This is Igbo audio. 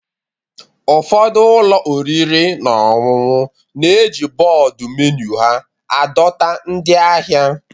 Ụfọdụ ụlọ oriri na ọṅụṅụ na-eji bọọdụ menu ha adọta ndị ahịa